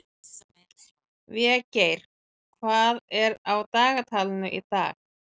Végeir, hvað er á dagatalinu í dag?